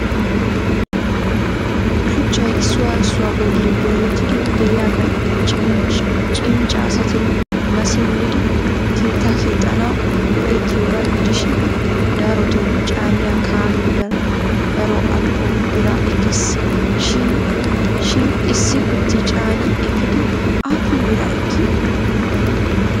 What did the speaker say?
shuchchay issoy issuwaa bolli dooretidi de'iyaaga cincca asati massi molidi keettaa keexxanaw go'ettiyooga gidishin darotoo caanniya kaamee daro al''o biraa ekkees, shin issi kutti caanni eepiidi aapun biraa ekkii?